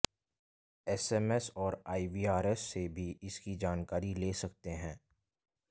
SMS और IVRS से भी इसकी जानकारी ले सकते हैं